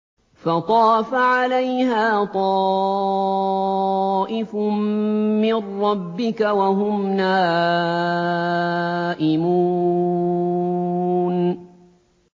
فَطَافَ عَلَيْهَا طَائِفٌ مِّن رَّبِّكَ وَهُمْ نَائِمُونَ